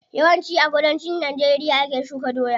Yawan ci a kudancin najeriya ake shuka doya.